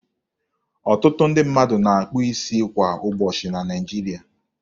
Ọtụtụ ndị mmadụ na-akpụ isi kwa ụbọchị na Naịjiri.